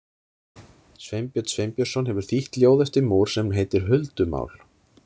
Sveinbjörn Sveinbjörnsson hefur þýtt ljóð eftir Moore sem heitir Huldumál.